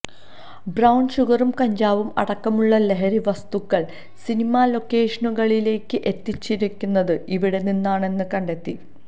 brown ഷുഗറും കഞ്ചാവും അടക്കുമുള്ള ലഹരി വസ്തുക്കള് സിനിമാ ലൊക്കേഷുനകളിലേക്ക് എത്തിച്ചിരുന്നത് ഇവിടെ നിന്നാണെന്ന് കണ്ടെത്തി